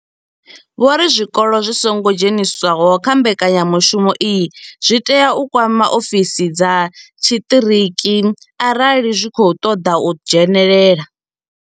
Vho ri zwikolo zwi songo dzheniswaho kha mbekanyamushumo iyi zwi tea u kwama ofisi dza tshiṱiriki arali zwi tshi khou ṱoḓa u dzhenelela.